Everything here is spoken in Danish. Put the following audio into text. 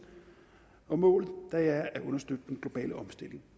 og målet er at understøtte den globale omstilling